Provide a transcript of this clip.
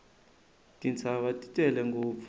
tintshava ti tele ngopfu